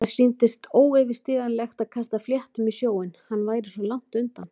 Það sýndist óyfirstíganlegt að kasta fléttum í sjóinn- hann væri svo langt undan.